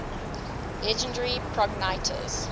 legendary progenitors